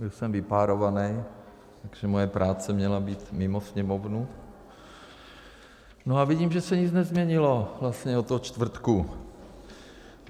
Byl jsem vypárovaný, takže moje práce měla být mimo Sněmovnu, no a vidím, že se nic nezměnilo vlastně od toho čtvrtku.